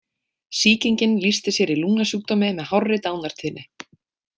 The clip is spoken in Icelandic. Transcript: Sýkingin lýsti sér í lungnasjúkdómi með hárri dánartíðni.